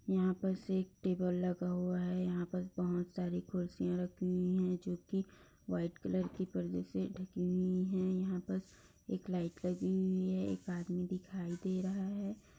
यहाँ बस एक टेबुल लगा हुआ है। यहाँ पर बहुत सारी कुर्सियां रखी हुईं हैं जो कि वाइट कलर के परदे से ढकी हुई हैं। यहाँ बस एक लाइट लगी हुई है एक आदमी दिखाई दे रहा है।